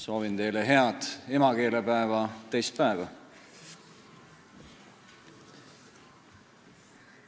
Soovin teile head emakeelepäeva teist päeva.